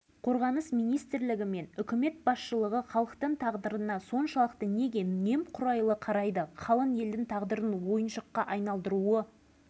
мәселе қойып қырық жылдан астам уақыттан бері семей полигонының зардабын тартып келе жатқан павлодар облысының